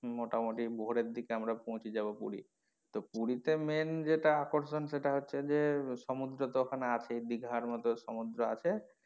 মোটামটি ভোরের দিকে আমরা পৌঁছে যাবো পুরি তো পুরি তে main যেটা আকর্ষণ সেটা হচ্ছে যে সমুদ্র তো ওখানে আছে দিঘার মতো সমুদ্র আছে।